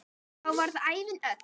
Þá varð ævin öll.